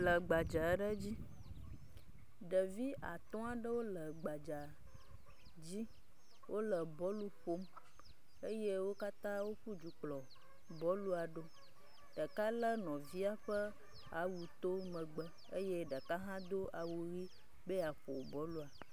Le gbadza aɖe dzi. Ɖevi atɔ aɖewo le gbadza dzi wole bɔlu ƒom eye wo katã woƒu du kplɔ bɔlua ɖo. Ɖeka le nɔvia ƒe awuto megbe eye ɖeka hã do awu ʋi be yeaƒo bɔlua.